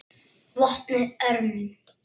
VOPNUÐ ÖRMUM